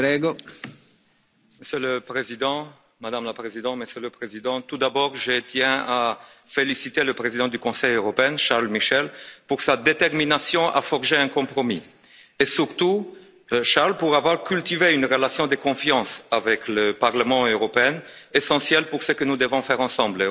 Monsieur le Président, Madame la Présidente, Monsieur le Président, tout d'abord je tiens à féliciter le président du Conseil européen, Charles Michel, pour sa détermination à forger un compromis et surtout, Charles, pour avoir cultivé une relation de confiance avec le Parlement européen, essentielle pour ce que nous devons faire ensemble on doit le dire.